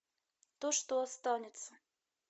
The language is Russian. то что останется